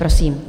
Prosím.